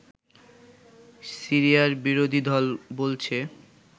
সিরিয়ার বিরোধীদল বলছে